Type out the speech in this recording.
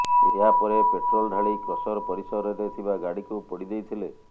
ଏହା ପରେ ପେଟ୍ରୋଲ ଢାଳି କ୍ରସର ପରିସରରେ ଥିବା ଗାଡିକୁ ପୋଡି ଦେଇଥିଲେ